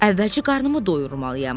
Əvvəlcə qarnımı doyurmalıyam.